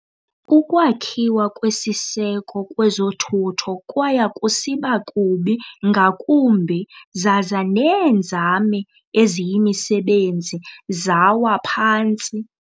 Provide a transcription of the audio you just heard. Ukwakhiwa kwesiseko kwezothutho kwaya kusiba kubi ngakumbi zaza neenzame eziyimisebenzi yawa phantsi.